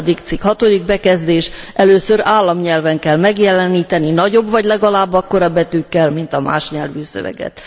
8. cikk bekezdés először államnyelven kell megjeleníteni nagyobb, vagy legalább akkora betűkkel, mint a más nyelvű szöveget.